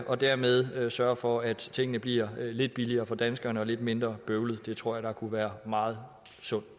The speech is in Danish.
og dermed sørge for at tingene bliver lidt billigere for danskerne og lidt mindre bøvlede det tror jeg der kunne være meget sund